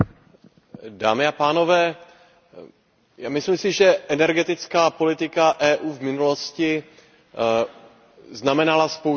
Myslím si, že energetická politika EU v minulosti zaznamenala spoustu chyb a měli bychom si to přiznat.